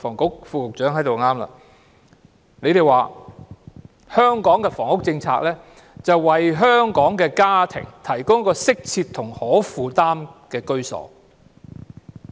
局方說香港的房屋政策，目標是為香港的家庭提供一個適切及可負擔的居所。